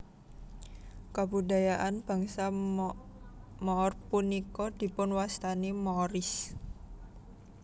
Kabudayaan bangsa Moor punika dipunwastani Moorish